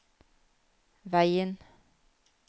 veien